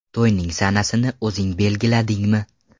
To‘yning sanasini o‘zing belgiladingmi?